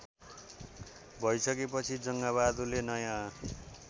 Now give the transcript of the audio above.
भइसकेपछि जङ्गबहादुरले नयाँ